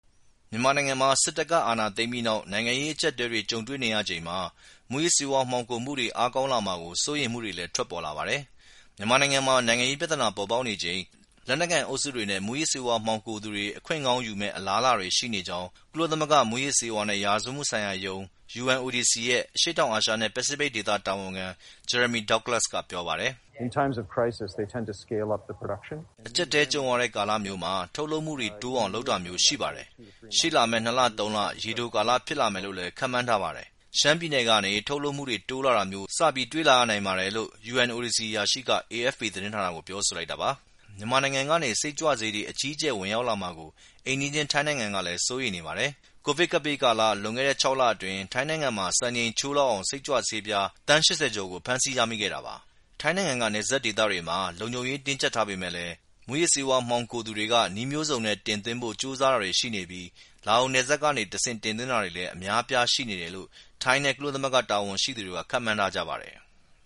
မြန်မာနိုင်ငံမှာ စစ်တပ်က အာဏာသိမ်းပြီးနောက် နိုင်ငံရေး အကျပ်အတည်းတွေ ကြုံနေရချိန်မှာ မူးယစ်ဆေးဝါး မှောင်ခိုမှုတွေ အားကောင်းလာမှာကို စိုးရိမ်မှုတွေလည်း ထွက်ပေါ်လာပါတယ်။ မြန်မာနိုင်ငံမှာ နိုင်ငံရေး ပြဿနာတွေ ပေါ်ပေါက်နေချိန် လက်နက်ကိုင် အုပ်စုတွေနဲ့ မူးယစ်ဆေးဝါး မှောင်ခိုသူတွေ အခွင့်ကောင်းယူမယ့် အလားအလာတွေ ရှိနေကြောင်း ကုလသမဂ္ဂ မူးယစ်ဆေးဝါးနဲ့ ရာဇဝတ်မှုဆိုင်ရာရုံး (UNODC) ရဲ့ အရှေ့တောင်အာရှနဲ့ ပစိဖိတ်ဒေသ တာဝန်ခံ Jeremy Douglas ကပြောပါတယ်။ “အကျပ်အတည်း ကြုံရတဲ့ ကာလမျိုးမှာ ထုတ်လုပ်မှုတွေ တိုးအောင် လုပ်တာမျိုးတွေ ရှိပါတယ်။ ရှေ့လာမယ့် ၂ လ ၃ လ၊ ရေတိုကာလမှာ ဖြစ်လာမယ်လို့လည်း ခန့်မှန်းပါတယ်။ ရှမ်းပြည်နယ်ကနေ ထုတ်လုပ်မှုတွေ တိုးလာတာမျိုး စပြီး တွေ့လာရနိုင်ပါတယ်။” လို့ UNODC အရာရှိက AFP သတင်းဌာနကို ပြောဆိုလိုက်တာပါ။ မြန်မာနိုင်ငံကနေ စိတ်ကြွဆေးတွေ အကြီးအကျယ် ဝင်ရောက်လာမှာကို အိမ်နီးချင်း ထိုင်းနိုင်ငံ ကလည်း စိုးရိမ်နေပါတယ်။ ကိုဗစ်ကပ်ဘေးကာလ လွန်ခဲ့တဲ့ ၆ လ အတွင်း ထိုင်းနိုင်ငံမှာ စံချိန်ချိုးလောက်အောင် စိတ်ကြွဆေးပြား သန်း ၈၀ ကျော် ဖမ်းဆီးမိခဲ့တာပါ။ ထိုင်းနိုင်ငံက နယ်စပ်ဒေသတွေမှာ လုံခြုံရေး တင်းကြပ်ထားပေမဲ့ မူးယစ်ဆေးဝါး မှောင်ခိုသူတွေက နည်းမျိုးစုံနဲ့ တင်သွင်းဖို့ ကြိုးစားတာတွေ ရှိနေပြီး၊ လာအိုနိုင်ငံနယ်စပ်ကနေ တင်သွင်းတာတွေလည်း အများအပြား ရှိနေတယ်လို့ ထိုင်းနဲ့ ကုလသမဂ္ဂ တာဝန်ရှိသူတွေကခန့်မှန်းထားကြပါတယ်။